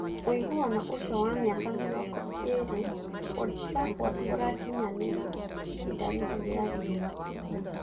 Ũiguano ũcio wa mĩaka mĩrongo ĩĩrĩ Old Trafford ũrakinyanĩra ihinda rĩrĩ rĩa riũa